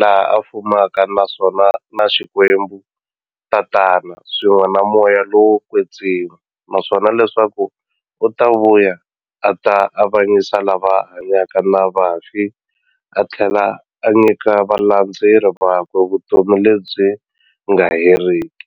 laha a fumaka na Xikwembu-Tatana, swin'we na Moya lowo kwetsima, naswona leswaku u ta vuya a ta avanyisa lava hanyaka na vafi athlela a nyika valandzeri vakwe vutomi lebyi nga heriki.